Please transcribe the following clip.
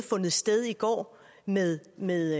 sted i går med med